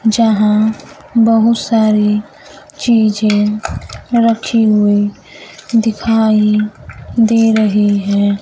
जहां बहुत सारी चीजें रखी हुई दिखाई दे रही है।